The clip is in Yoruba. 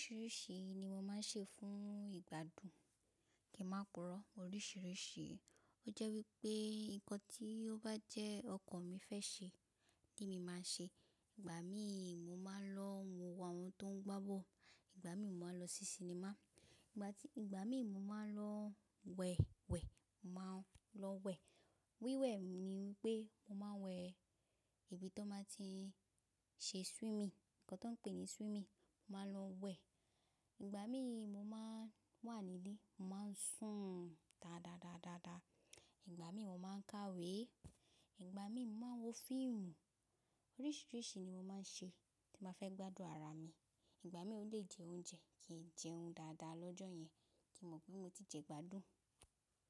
Oríṣìíríṣìí ni mo máa ń ṣe fún ìgbádùn, kí n máa púrò oríṣìíríṣìí. O jẹ́ wípé nǹkan tí o bá jẹ́ ọkàn mi fẹ́ ṣe ni mi máa ṣe. Ìgbà míì mo máa ń lọ wo àwọn tó ń gbá bọ̀lu. Ìgbà míì mo máa lọ sí sinimá. Ìgbà ti. Ìgbà mí mo maa n lo wè wè, mo maa lo wè. Wíwẹ̀ ni wípé mo máa ń wẹ̀ ibi tó máa ti ń ṣe swimming, nǹkan tó pè ní swimming, màá lọ wẹ̀. Ìgbà míì mo máa ń wà nílé, màá ń sùn dáadáa, dáadáa. Ìgbà míì mo máa ń kàwé. Ìgbà míì mo máa ń wo fíìmù. Oríṣìíríṣìí ni mo máa ń ṣe tí ba fẹ́ gbádùn ara mi. Ìgbà míì ó lè jẹ oúnjẹ kíì jẹun dáadáa lọ́jọ́ yẹn kí n mọ̀ pé mo ti jẹ gbádùn.